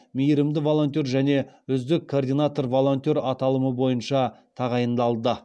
мейірімді волонтер және үздік координатор волонтер аталымы бойынша тағайындалды